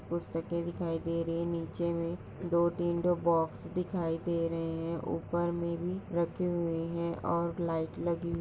पुस्तके दिखाई दे रही है नीचे मे दो तीन बॉक्स दिखाई दे रहे है ऊपर मे भी रखे हुए है और लाइट लगी--